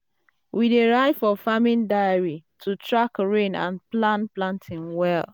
we dey um write for farming diary to track rain and plan planting well.